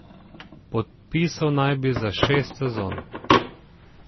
Podpisal naj bi za šest sezon.